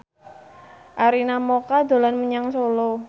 Arina Mocca dolan menyang Solo